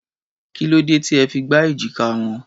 Kí ló dé tí ẹ fi gbá èjìká wọn?